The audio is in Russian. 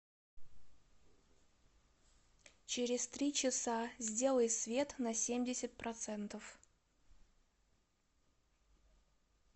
через три часа сделай свет на семьдесят процентов